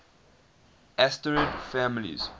asterid families